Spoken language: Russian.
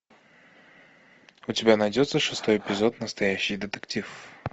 у тебя найдется шестой эпизод настоящий детектив